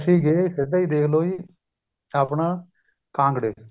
ਗਏ ਸਿੱਧਾ ਹੀ ਦੇਖਲੋ ਜੀ ਆਪਣਾ ਕਾਂਗੜੇ